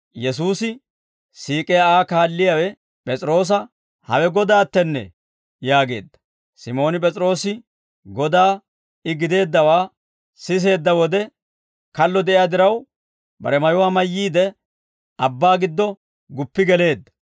Yesuusi siik'iyaa Aa kaalliyaawe P'es'iroosa, «Hawe Godaattennee!» yaageedda. Simooni P'es'iroose Godaa I gideeddawaa siseedda wode, kallo de'iyaa diraw, bare mayuwaa mayyiide, abbaa giddo guppi geleedda.